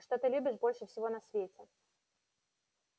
а что ты любишь больше всего на свете